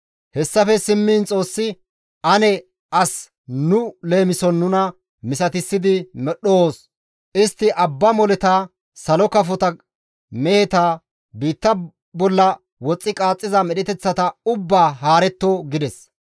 Hessafe simmiin Xoossi, «Ane as nu leemison nuna misatissidi medhdhoos; istti abba moleta, salo kafota, meheta, biitta bolla woxxi qaaxxiza medheteththata ubbaa haaretto» gides.